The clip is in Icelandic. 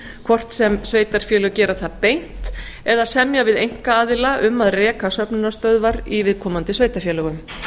hvort sem sveitarfélög gera það beint eða semja við einkaaðila um að reka söfnunarstöðvar í viðkomandi sveitarfélögum